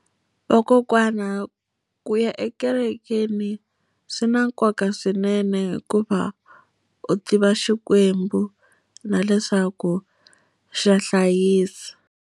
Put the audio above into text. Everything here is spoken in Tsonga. Vakokwana ku ya ekerekeni swi na nkoka swinene hikuva, u tiva xikwembu na leswaku xa hlayisa.